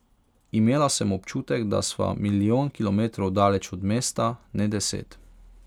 Imela sem občutek, da sva milijon kilometrov daleč od mesta, ne deset.